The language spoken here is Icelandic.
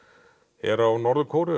er á Norður Kóreu